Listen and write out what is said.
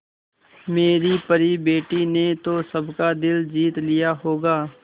मेरी परी बेटी ने तो सबका दिल जीत लिया होगा